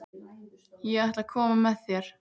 Ég ætla að koma með þér!